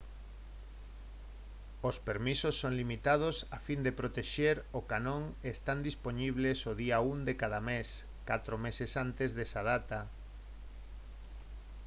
os permisos son limitados a fin de protexer o canón e están dispoñibles o día 1 de cada mes catro meses antes desa data